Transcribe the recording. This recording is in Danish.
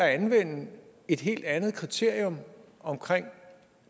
at anvende et helt andet kriterium omkring